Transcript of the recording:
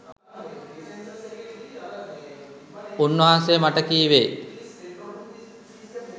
උන්වහන්සෙ මට කිවේ